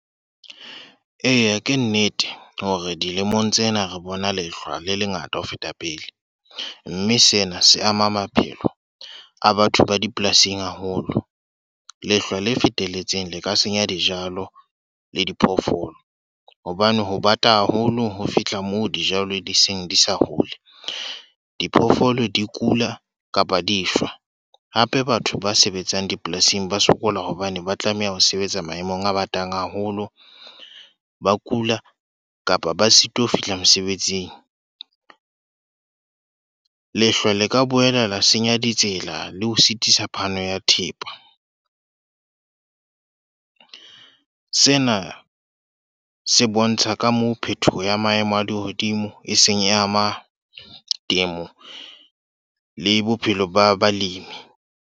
Eya ke nnete, hore dilemong tsena re bona lehlwa le lengata ho feta pele. Mme sena se ama maphelo a batho ba dipolasing haholo. Lehlwa le fetelletseng, le ka senya dijalo le diphoofolo. Hobane ho bata haholo ho fihla moo dijalo di seng di sa hole. Diphoofolo di kula kapa di shwa. Hape batho ba sebetsang dipolasing ba sokola hobane ba tlameha ho sebetsa maemong a batang haholo. Ba kula, kapa ba sitwa ho fihla mosebetsing. Lehlwa le ka boela senya ditsela le ho sitisa phano ya thepa. Sena se bontsha ka moo phetoho ya maemo a lehodimo e seng e ama temo le bophelo ba balemi.